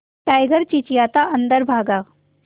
tiger चिंचिंयाता अंदर भागा